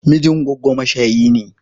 Mijin goggo mashayi ne.